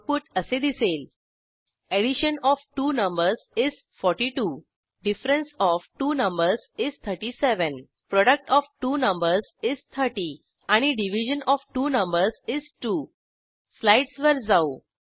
output असे दिसेल addition of two numbers is 42 difference of two numbers is 37 product of two numbers is 30 आणि division of two numbers is 2 स्लाईडसवर जाऊ